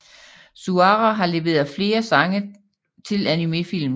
Suara har leveret sange til flere animefilm